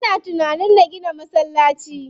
Ina tunanin na gina masallaci.